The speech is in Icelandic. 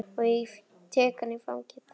Og ég tek hana í fangið.